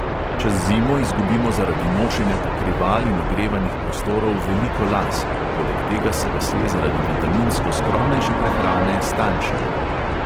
Čez zimo izgubimo zaradi nošenja pokrival in ogrevanih prostorov veliko las, poleg tega se lasje zaradi vitaminsko skromnejše prehrane stanjšajo.